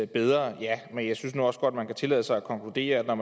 bedre ja men jeg synes nu også godt man kan tillade sig at konkludere at når